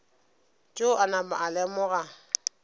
tšeo a napa a lemoga